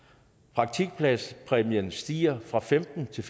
praktikpladspræmien stiger fra femtentusind